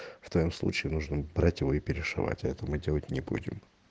в твоём случае нужно брать его и перешивать а это мы делать не будем